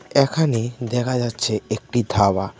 এখানে দেখা যাচ্ছে একটি ধাবা.